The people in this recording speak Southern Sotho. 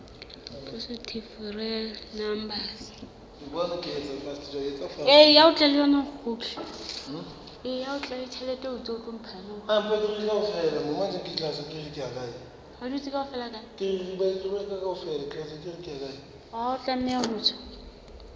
positive real numbers